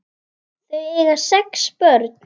Þau eiga sex börn.